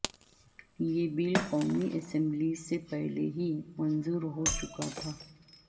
یہ بل قومی اسمبلی سے پہلے ہی منظور ہو چکا تھا